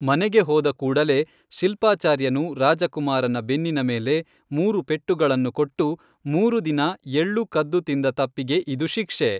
ಮನೆಗೆ ಹೋದ ಕೂಡಲೇ ಶಿಲ್ಪಾಚಾರ್ಯನು ರಾಜಕುಮಾರನ ಬೆನ್ನಿನ ಮೇಲೆ ಮೂರು ಪೆಟ್ಟುಗಳನ್ನು ಕೊಟ್ಟು ಮೂರು ದಿನ ಎಳ್ಳು ಕದ್ದು ತಿಂದ ತಪ್ಪಿಗೆ ಇದು ಶಿಕ್ಷೆ